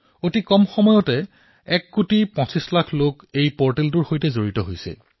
অতি কম সময়ৰ ভিতৰতে এই পৰ্টেলৰ সৈতে পঁচিশ কোটি লোক জড়িত হৈছে